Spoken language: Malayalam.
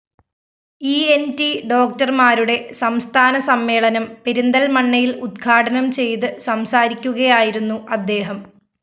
ഇ ന്‌ ട്‌ ഡോക്ടര്‍മാരുടെ സംസ്ഥാനസമ്മേളനം പെരിന്തല്‍മണ്ണയില്‍ ഉദ്ഘാടനം ചെയ്ത് സംസാരിക്കുകയായിരുന്നു അദ്ദേഹം